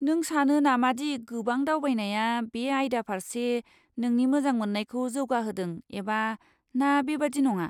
नों सानो नामादि गोबां दावबायनाया बे आयदा फारसे नोंनि मोजां मोननायखौ जौगाहोदों एबा ना बेबादि नङा?